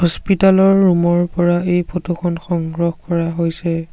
Hospital ৰ room ৰ পৰা এই ফটো খন সংগ্ৰহ কৰা হৈছে।